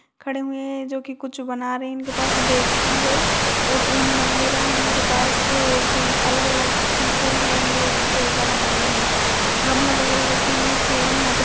खड़े हुए हैं जो की कुछ बना रहे हैं इनके पास बैग भी है और उन वगेहरा है इनके पास और कोई अलग अलग चीज़ें हैं ये जो बना रहे हैं गमला वगेहरा रखे हुए हैं चेयरें यहाँ पर --